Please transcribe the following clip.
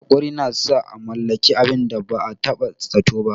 Haƙuri na sa a mallaki abin da ba a taɓa zato ba.